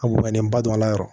A bɔnnen ba don a la yɛrɛ